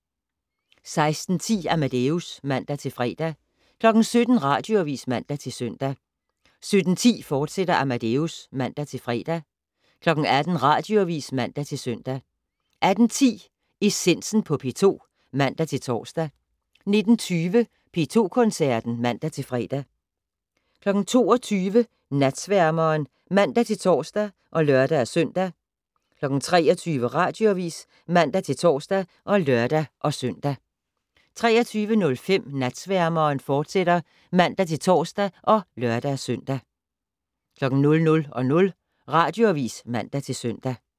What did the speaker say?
16:10: Amadeus (man-fre) 17:00: Radioavis (man-søn) 17:10: Amadeus, fortsat (man-fre) 18:00: Radioavis (man-søn) 18:10: Essensen på P2 (man-tor) 19:20: P2 Koncerten (man-fre) 22:00: Natsværmeren (man-tor og lør-søn) 23:00: Radioavis (man-tor og lør-søn) 23:05: Natsværmeren, fortsat (man-tor og lør-søn) 00:00: Radioavis (man-søn)